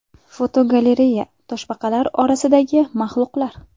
Fotogalereya: Toshbaqalar orasidagi maxluqlar .